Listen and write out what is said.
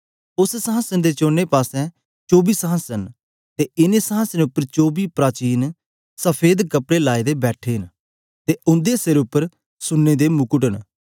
उस्स संहासन दे चोने पासें चौबी संहासन न ते इनें संहासने उपर चौबी प्राचीन सफेद कपड़े लाए दे बैठे न ते उंदे सिरे उपर सुन्ने दे मुकट न